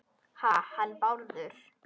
Ha- hann Bárður?